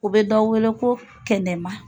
U bɛ dɔ wele ko kɛnɛma.